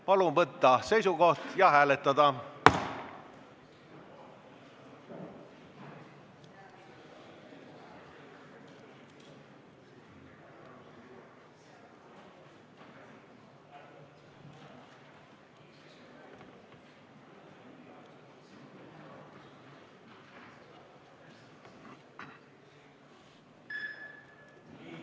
Palun võtta seisukoht ja hääletada!